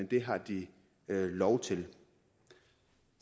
det har de lov til